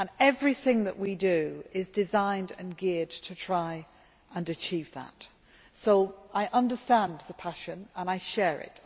Everything that we do is designed and geared to try to achieve that, so I understand your passion, and I share it.